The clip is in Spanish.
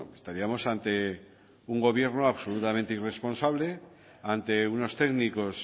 estaríamos ante un gobierno absolutamente irresponsable ante unos técnicos